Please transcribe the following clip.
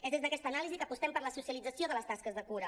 és des d’aquesta anàlisi que apostem per la socialització de les tasques de cura